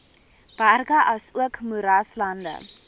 berge asook moeraslande